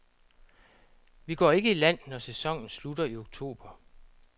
Vi går ikke i land, når sæsonen slutter i oktober.